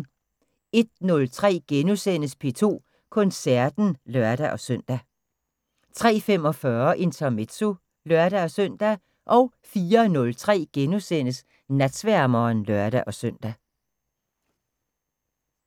01:03: P2 Koncerten *(lør-søn) 03:45: Intermezzo (lør-søn) 04:03: Natsværmeren *(lør-søn)